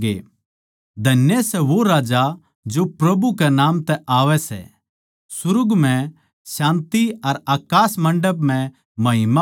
धन्य सै वो राजा जो प्रभु कै नाम तै आवै सै सुर्ग म्ह शान्ति अर अकास मण्डप म्ह महिमा हो